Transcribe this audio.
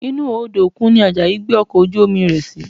Inú Odò òkun ni Àjàyí gbé ọkọ̀ ojú-omi rẹ̀ sí